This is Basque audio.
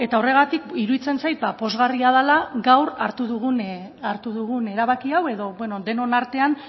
horregatik iruditzen zati pozgarria dela gaur hartu dugun erabaki hau edo beno denon artean